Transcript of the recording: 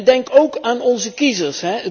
Denk ook aan onze kiezers.